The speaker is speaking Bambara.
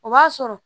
O b'a sɔrɔ